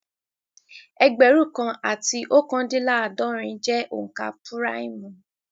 Ẹgbẹ̀rún kan àti ookandinlaadorun jẹ́ onka púráìmù